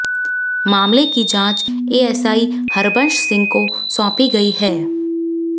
मामले की जांच एएसआई हरबंशसिंह को सौंपी गई है